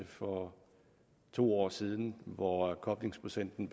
for to år siden hvor koblingsprocenten